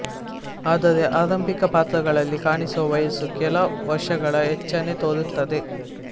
ಆದರೆ ಆರಂಭಿಕ ಪಾತ್ರಗಳಲ್ಲಿ ಕಾಣಿಸುವ ವಯಸ್ಸು ಕೆಲ ವರ್ಷಗಳ ಹೆಚ್ಚನ್ನೇ ತೋರಿತ್ತದೆ